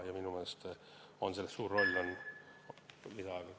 Palun lisaaega!